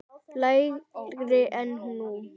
lægri en nú.